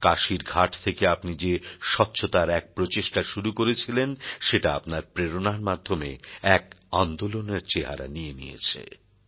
কাশীর ঘাট থেকে আপনি যে স্বচ্ছতার এক প্রচেষ্টা শুরু করেছিলেন সেটা আপনার প্রেরণার মাধ্যমে এক আন্দোলনের চেহারা নিয়ে নিয়েছে